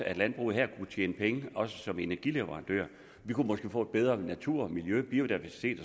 at landbruget her kunne tjene penge også som energileverandører vi kunne måske få en bedre natur miljø biodiversitet